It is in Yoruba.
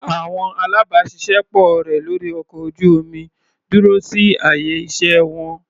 Àwọn alábàáṣiṣé pọ̀ rẹ̀ lórí ọkọ̀ ojú-omi dúró sí àyè iṣẹ́ wọn.